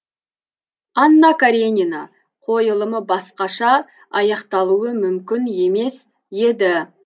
анна каренина қойылымы басқаша аяқталуы мүмкін емес еді